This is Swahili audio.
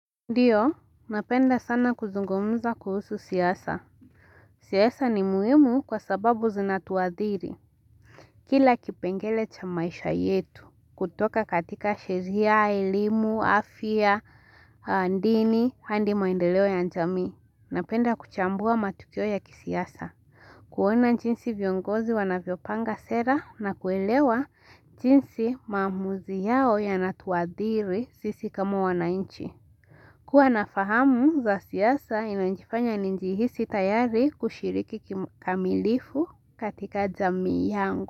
Ndio, napenda sana kuzungumza kuhusu siasa. Siasa ni muhimu kwa sababu zinatuadhiri. Kila kipengele cha maisha yetu, kutoka katika sheria, elimu, afya, ndini, handi maendeleo ya njamii. Napenda kuchambua matukio ya kisiasa. Kuona nchinsi viongozi wanavyopanga sera na kuelewa nchinsi mamuzi yao yanatuadhiri sisi kama wanainchi. Kuwa nafahamu za siyasa inajifanya ninji hisi tayari kushiriki kikamilifu katika zami yangu.